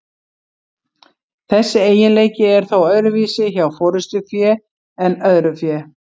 þessi eiginleiki er þó öðruvísi hjá forystufé en öðru fé